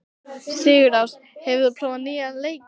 Sigurásta, hefur þú prófað nýja leikinn?